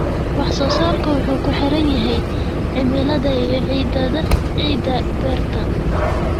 Wax-soo-saarku wuxuu ku xiran yahay cimilada iyo ciidda beerta.